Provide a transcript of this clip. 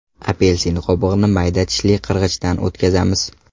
Apelsin qobig‘ini mayda tishli qirg‘ichdan o‘tkazamiz.